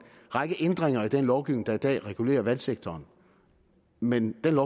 række ændringer i den lovgivning der i dag regulerer vandsektoren men den